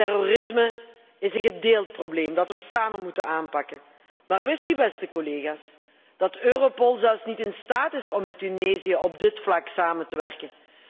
Terrorisme is een gedeeld probleem dat we samen moeten aanpakken. Maar wist u, beste collega's, dat Europol zelfs niet in staat is om met Tunesië op dit vlak samen te werken?